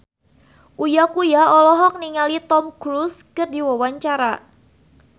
Uya Kuya olohok ningali Tom Cruise keur diwawancara